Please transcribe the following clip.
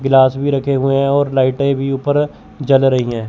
Glass भी रखे हुए हैं और लाईटें भी ऊपर जल रही हैं।